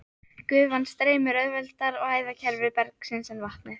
Gufan streymir auðveldar um æðakerfi bergsins en vatnið.